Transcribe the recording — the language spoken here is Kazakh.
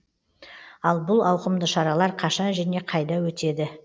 ал бұл ауқымды шаралар қашан және қайда өтеді